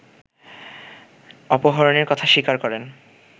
অপহরণের কথা স্বীকার করেন